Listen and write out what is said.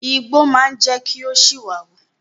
Igbó máa jẹ́ kí ó ṣìwà wù.